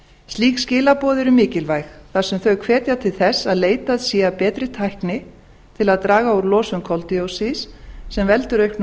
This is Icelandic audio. slík skilaboð eru mikilvæg þar sem þau hvetja til þess að leitað sé að betri tækni til að draga úr losun koldíoxíðs sem veldur auknum